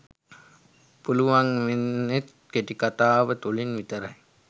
පුළුවන් වෙන්නෙත් කෙටිකතාව තුළින් විතරයි.